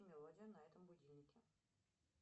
мелодию на этом будильнике